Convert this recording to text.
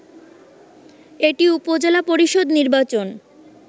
এটি উপজেলা পরিষদ নির্বাচন